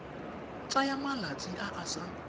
tsaya malatsi a a sa